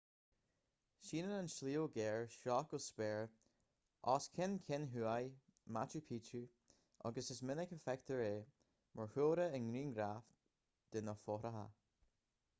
síneann an sliabh géar seo go spéir os cionn ceann thuaidh machu picchu agus is minic a fheictear é mar chúlra i ngrianghraif de na fothracha